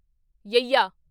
ਯੱਯਾ